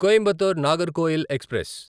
Coimbatore Nagercoil express